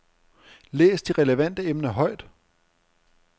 Læs de relevante emner højt.